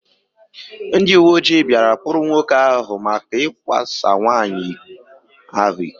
Ndị uwe ojii bia kpụrụ nwoke áhù maka ikwa sa nwanyị ahụ ịkọ